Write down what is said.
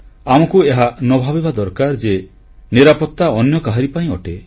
ଆମକୁ ଏହା ନ ଭାବିବା ଦରକାର ଯେ ନିରାପତ୍ତା ଅନ୍ୟ କାହାରି ପାଇଁ ଅଟେ